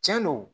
Cɛn do